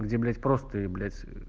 где блять просто и блять ээ